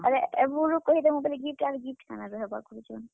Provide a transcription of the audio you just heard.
ବେଲେ ଏଭୁରୁ କହିଦେମୁଁ ବେଲେ gift ଆର୍ gift କାଣା ରହେବା କହୁଛନ୍।